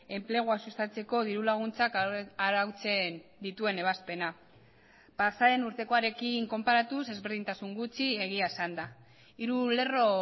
enplegua sustatzeko diru laguntzak arautzen dituen ebazpena pasa den urtekoarekin konparatuz ezberdintasun gutxi egia esanda hiru lerro